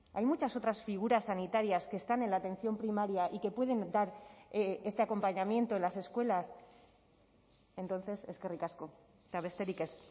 hay muchas otras figuras sanitarias que están en la atención primaria y que pueden dar este acompañamiento en las escuelas entonces eskerrik asko eta besterik ez